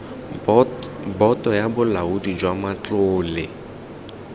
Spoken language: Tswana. boto ya bolaodi jwa matlole